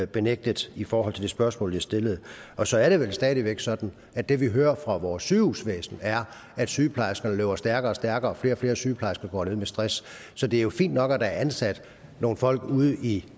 benægtet i forhold til det spørgsmål jeg stillede og så er det vel stadig væk sådan at det vi hører fra vores sygehusvæsen er at sygeplejerskerne løber stærkere og stærkere og at flere og flere sygeplejersker går ned med stress så det er fint nok at der er ansat nogle folk ude i